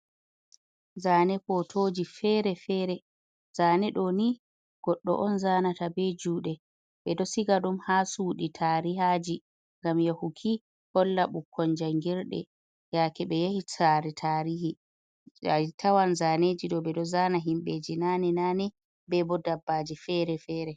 Zane fotoji fere-fere. Zane ɗo ni goɗɗo on zanata be juɗe. Ɓe ɗo siga ɗum ha chuɗi tarihaji, ngam yahuki holla bukkon jangirɗe yake ɓe yahi sare tarihi . A tawan zaneji ɗo ɓe ɗo zana himbeji nane-nane be bo dabbaji fere-fere.